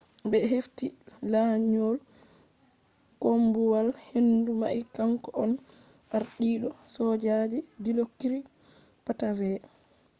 be hefti lanyol koombuwal-hendu mai kanko on ardiido sojaji dilokrit pattavee